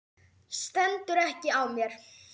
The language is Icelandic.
Stendur ekki á mér.